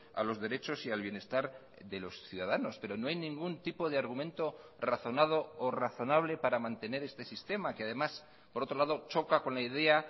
a los derechos y al bienestar de los ciudadanos pero no hay ningún tipo de argumento razonado o razonable para mantener este sistema que además por otro lado choca con la idea